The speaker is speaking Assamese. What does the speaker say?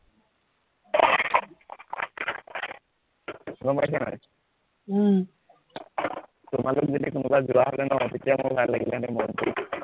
গম পাইছা নাই, উম তোমালোক যদি কোনোবা যোৱা হলে ন তেতিয়া মোৰ ভাল লাগিলেহেতেন মনটো